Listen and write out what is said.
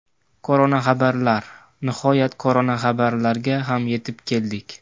Koronaxabarlar Nihoyat koronaxabarlarga ham yetib keldik.